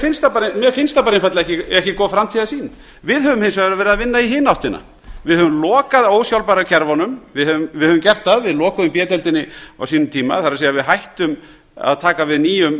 finnst það bara einfaldlega ekki góð framtíðarsýn við höfum hins vegar verið að vinna í hina áttina við höfum lokað ósjálfbæru kerfunum við höfum gert það við lokuðum b deildinni á sínum tíma það er að við hættum að taka við nýjum